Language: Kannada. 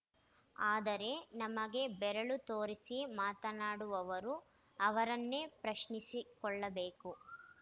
ಆದರೆ ನಮಗೆ ಬೆರಳು ತೋರಿಸಿ ಮಾತನಾಡುವವರು ಅವರನ್ನೇ ಪ್ರಶ್ನಿಸಿಕೊಳ್ಳಬೇಕು